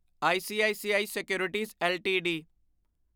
ICICI securities LTD